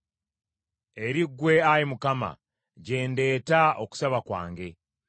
Eri ggwe, Ayi Mukama , gye ndeeta okusaba kwange.